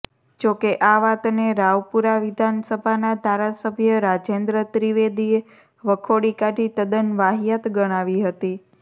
જોકે આ વાતને રાવપુરા વિધાનસભાના ધારાસભ્ય રાજેન્દ્ર ત્રિવેદીએ વખોડી કાઢી તદન વાહીયાત ગણાવી હતી